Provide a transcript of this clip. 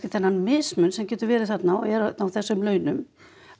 þennan mismun sem getur verið þarna og er þarna á þessum launum